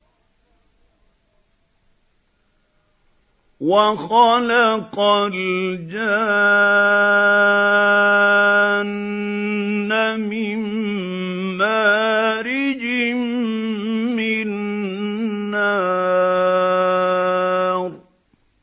وَخَلَقَ الْجَانَّ مِن مَّارِجٍ مِّن نَّارٍ